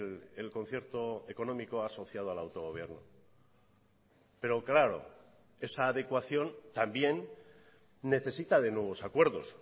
el concierto económico asociado al autogobierno pero claro esa adecuación también necesita de nuevos acuerdos